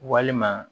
Walima